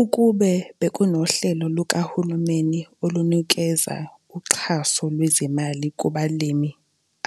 Ukube bekunohlelo lukahulumeni olunukeza uxhaso lwezimali kubalimi